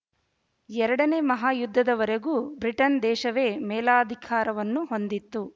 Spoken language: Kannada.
ಎರಡನೇ ಮಹಾಯುದ್ಧದವರೆಗೂ ಬ್ರಿಟನ್ ದೇಶವೇ ಮೇಲಾಧಿಕಾರವನ್ನು ಹೊಂದಿತ್ತು